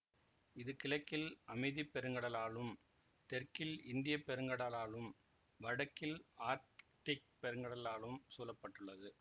இது கிழக்கில் அமைதி பெருங்கடல் ஆலும் தெற்கில் இந்திய பெருங்கடல் ஆலும் வடக்கில் ஆர்க்டிக் பெருங்கடல் ஆலும் சூழ பட்டுள்ளது